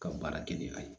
Ka baara kɛ n'a ye